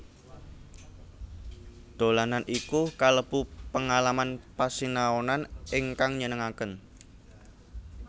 Dolanan iku kalebu pengalaman pasinaonan ingkang nyenengaken